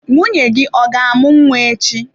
Nwunye gị ọ ga amu nwa echi?